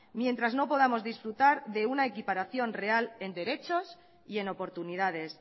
mientras no podamos disfrutar de una equiparación real en derechos y en oportunidades